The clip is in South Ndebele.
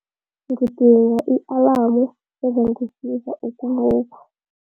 Ngidinga i-alamu ezangisiza ukuvuka.